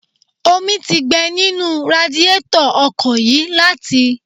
Omi ti gbẹ nínú radiétọ̀ ọkọ̀ yìí láti